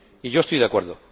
Y yo estoy de acuerdo.